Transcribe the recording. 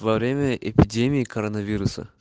во время эпидемии коронавируса